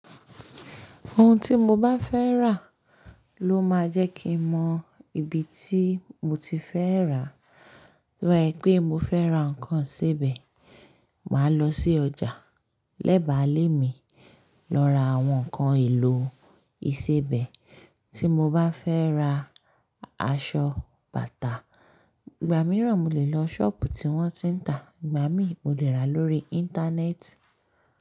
Ohun tí mo bá fẹ́ rà ló máa jẹ́ kí n mọ ibi tí mo ti fẹ́ rà. To ba se pé mo fẹ́ ra nǹkan ìsebẹ̀, màá lọ sí ọjà. Lẹ́bàá lé mi lọ ra àwọn nǹkan èlò ìsebẹ̀. Tí mo bá fẹ́ ra aṣọ/bàtà, ìgbà mìíràn mo lè lọ ṣọ́ọ̀bù tí wọ́n ti ń tà, ìgbà mi mo lè rà lórí Íńtánẹ́ẹ̀tì.